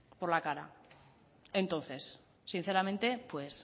por la cara entonces sinceramente pues